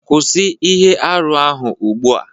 Kwụsị ihe arụ ahụ ugbu a